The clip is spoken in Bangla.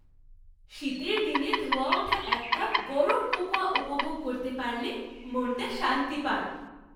শীতের দিন ধোঁয়া ওঠা এক কাপ গরম কোকোয়া উপভোগ করতে পারলে মনটা শান্তি পায়।